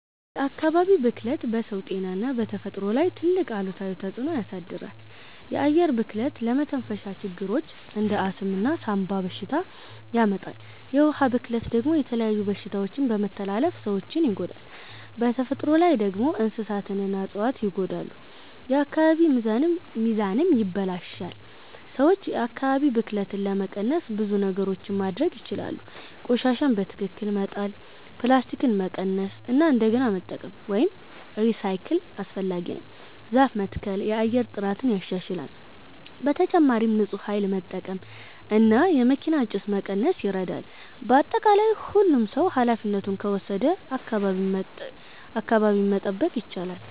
የአካባቢ ብክለት በሰው ጤና እና በተፈጥሮ ላይ ትልቅ አሉታዊ ተፅዕኖ ያሳድራል። የአየር ብክለት ለመተንፈሻ ችግሮች እንደ አስም እና ሳንባ በሽታ ያመጣል። የውሃ ብክለት ደግሞ የተለያዩ በሽታዎችን በመተላለፍ ሰዎችን ይጎዳል። በተፈጥሮ ላይ ደግሞ እንስሳትና እፅዋት ይጎዳሉ፣ የአካባቢ ሚዛንም ይበላሽታል። ሰዎች የአካባቢ ብክለትን ለመቀነስ ብዙ ነገሮች ማድረግ ይችላሉ። ቆሻሻን በትክክል መጣል፣ ፕላስቲክን መቀነስ እና እንደገና መጠቀም (recycle) አስፈላጊ ነው። ዛፍ መትከል የአየር ጥራትን ያሻሽላል። በተጨማሪም ንፁህ ኃይል መጠቀም እና የመኪና ጭስ መቀነስ ይረዳል። በአጠቃላይ ሁሉም ሰው ኃላፊነቱን ከወሰደ አካባቢን መጠበቅ ይቻላል።